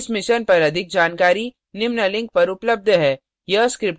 इस mission पर अधिक जानकारी निम्न लिंक पर उपलब्ध है